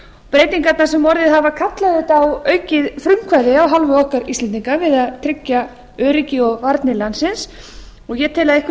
breytingarnar sem orðið hafa kalla auðvitað á aukið frumkvæði af hálfu okkar íslendinga við að tryggja öryggi og varnir landsins og ég tel að að einhverju